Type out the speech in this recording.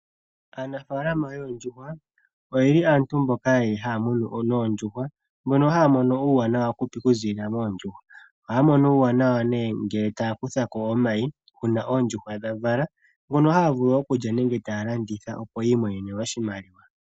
Aanafaalama yoondjuhwa oye li aantu mboka haa munu noondjuhwa, mbono haa mono uuwanawa okuziilila moondjuhwa. Ohaa mono uuwanawa ngele taa kutha ko omayi uuna oondjuhwa dha vala ngono haa vulu okulya nenge taa landitha opo yi imonene oshimaliwa